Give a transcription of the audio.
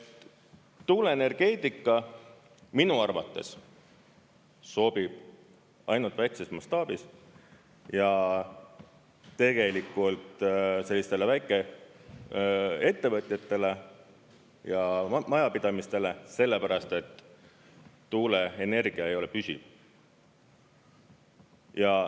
Tuuleenergeetika minu arvates sobib ainult väikeses mastaabis ja tegelikult sellistele väikeettevõtetele ja majapidamistele, sellepärast et tuuleenergia ei ole püsiv.